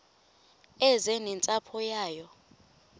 eze nentsapho yayo